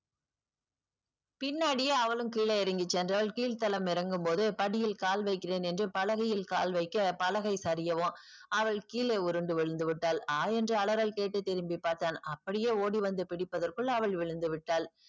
பின்னாடியே அவளும் கிழே இறங்கி சென்றால் கீழ் தளம் இறங்கும்போது படியில் கால் வைக்கிறேன் என்று பலகையில் கால் வைக்க பலகை சரியவும் அவள் கீழே உருண்டு விழுந்துவிட்டால் ஆ என்று அலறல் கேட்டு திரும்பி பார்த்தான் அப்படியே ஓடி வந்து பிடிப்பதற்க்குள் அவள் விழுந்து விட்டால்